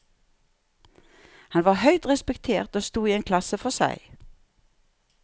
Han var høyt respektert og sto i en klasse for seg.